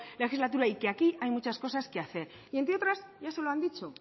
legislatura y que aquí hay muchas cosas que hacer y entre otras ya se lo han dicho